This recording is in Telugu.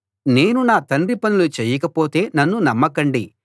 నేను నా తండ్రి పనులు చెయ్యకపోతే నన్ను నమ్మకండి